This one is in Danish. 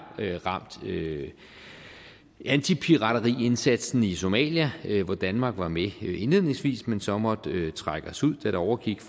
ramt antipirateriindsatsen i somalia hvor danmark var med indledningsvis men så måtte vi trække os ud da det overgik